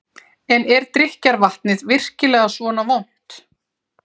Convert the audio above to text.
En er drykkjarvatnið virkilega svona vont?